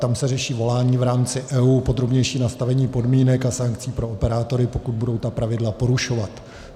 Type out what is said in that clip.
Tam se řeší volání v rámci EU, podrobnější nastavení podmínek a sankcí pro operátory, pokud budou ta pravidla porušovat.